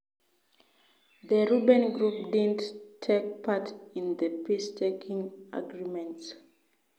The rebel group didn't take part in the peace talking agreements.